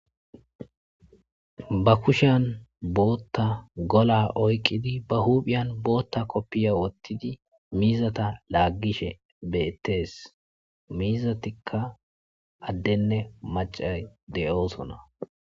ba kushan bootta gola oyqidi ba huuphiyan bootta koppiya wottidi miizata laaggishe beettees miizatikka addenne macay de'oosona